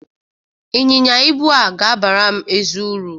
Ịnyịnya ibu a ga-abara m ezi uru.